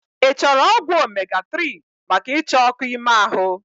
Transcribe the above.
I chọrọ ọgwụ omega 3 maka icha ọkụ ime ahụ?